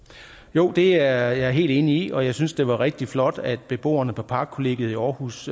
jo det er jeg helt enig i og jeg synes det var rigtig flot at beboerne på parkkollegiet i aarhus